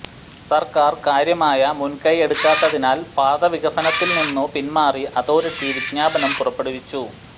സർക്കാർ കാര്യമായ മുൻകൈ എടുക്കാത്തതിനാൽ പാത വികസനത്തിൽ നിന്നു പിന്മാറി അതോറിറ്റി വിജ്ഞാപനം പുറപ്പെടുവിച്ചു